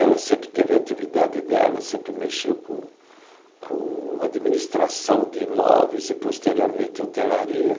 Ela sempre teve atividade dela, sempre mexeu com com administração de imóveis e, posteriormente, hotelaria.